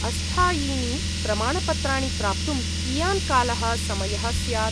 अस्थायीनि प्रमाणपत्राणि प्राप्तुं कियान् कालः समयः स्यात्?